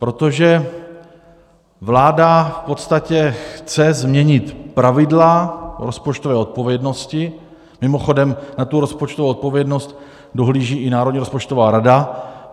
Protože vláda v podstatě chce změnit pravidla rozpočtové odpovědnosti Mimochodem, na tu rozpočtovou odpovědnost dohlíží i Národní rozpočtová rada.